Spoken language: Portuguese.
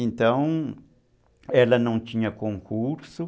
Então, ela não tinha concurso.